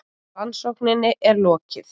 Rannsókninni er lokið!